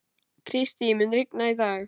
Kristý, mun rigna í dag?